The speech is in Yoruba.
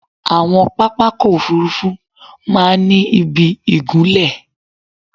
Àwọn pápákọ̀ òfúrufú máa ń ni ìbí ìgunlẹ̀